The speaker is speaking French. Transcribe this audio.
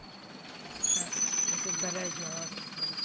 Madame la Présidente, excusez mon inexpérience.